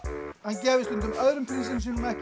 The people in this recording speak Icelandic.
hann gæfi stundum öðrum prinsinum sínum ekki